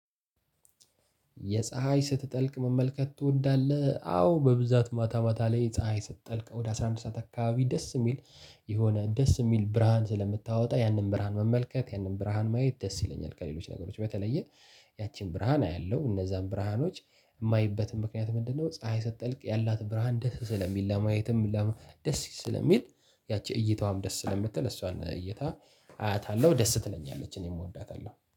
የፀሀይ ስትጠልቅ መመልከት ትወዳለህ? አዎ በብዛት ማታ ማታ ላይ ፀሀይ ስትጠልቅ ወደ አስራ አንድ ሰዓት አካባቢ ደስ የሚል የሆነ ደስ የሚል ብርሃን ስለምታወጣ ያንን ብርሃን መመልከት ያንን ብርሃን ማየት ደስ ይለኛል። ከሌሎች ነገሮች በተለየ ያቺን ብርሃን አያለሁ እነዛን ብርሃኖች የማይበትም ምክንያት ምንድነው? ፀሀይ ስትጠልቅ ያላት ብርሃን ደስ ስለሚል ለማየትም ምንለ ደስ ስለሚል ያቺ እይታዋም ደስ ስለምትል እሷን እይታ አያታለሁ ደስ ትለኛለች። እኔም ወዳታለሁ